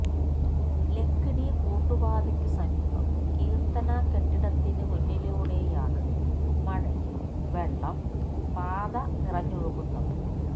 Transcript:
ലക്കിടി കൂട്ടുപാതയ്ക്കുസമീപം കീർത്തന കെട്ടിടത്തിന് മുന്നിലൂടെയാണ് മഴയിൽ വെള്ളം പാത നിറഞ്ഞൊഴുകുന്നത്